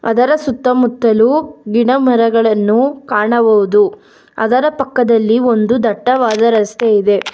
ಅದರ ಸುತ್ತಮುತ್ತಲು ಗಿಡಮರಗಳನ್ನು ಕಾಣಬಹುದು ಅದರ ಪಕ್ಕದಲ್ಲಿ ಒಂದು ದಟ್ಟವಾದ ರಸ್ತೆ ಇದೆ.